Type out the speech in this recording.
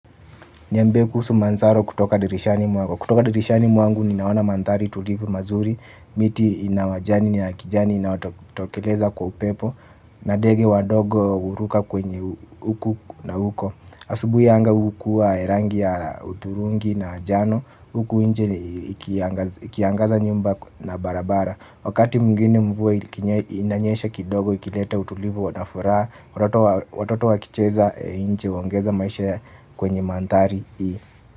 Niambie kuhusu manzaro kutoka dirishani mwako. Kutoka dirishani mwangu ni naona manthari tulivu mazuri, miti inawajani niya kijani inayotokeleza kwa upepo, na dege wadogo huruka kwenye huku na huko. Asubuhi anga hukuwa rangi ya uthurungi na njano huku inje ikiangaza nyumba na barabara. Wakati mwingine mvue inanyesha kidogo ikilete utulivu wanafuraha watoto. Watoto wakicheza nje huongeza maisha kwenye manthari hii.